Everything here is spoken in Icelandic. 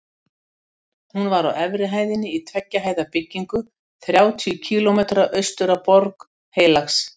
Hún var á efri hæðinni í tveggja hæða byggingu þrjátíu kílómetra austur af Borg Heilags